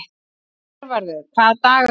Hervarður, hvaða dagur er í dag?